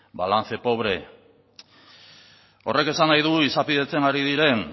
balance pobre horrek esan nahi du izapidetzen ari diren